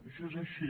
això és així